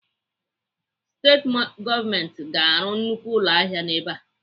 Steeti gọọmenti ga-arụ nnukwu ụlọahịa ebe a.